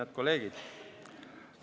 Head kolleegid!